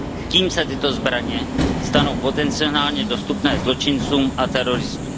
Tím se tyto zbraně stanou potencionálně dostupné zločincům a teroristům.